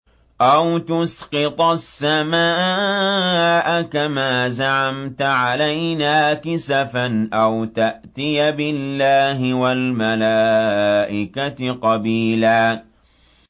أَوْ تُسْقِطَ السَّمَاءَ كَمَا زَعَمْتَ عَلَيْنَا كِسَفًا أَوْ تَأْتِيَ بِاللَّهِ وَالْمَلَائِكَةِ قَبِيلًا